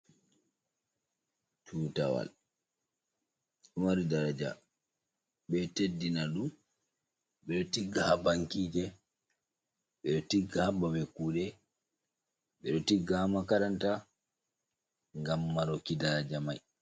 Tutawal. Ɗo mari daraja, ɓe ɗo teddina ɗum, ɓe ɗo tigga haa bankije, ɓe ɗo tigga haa babe kuuɗe, ɓe ɗo tigga haa makaranta ngam maroki daraja mai.